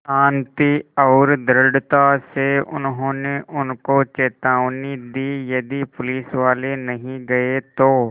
शान्ति और दृढ़ता से उन्होंने उनको चेतावनी दी यदि पुलिसवाले नहीं गए तो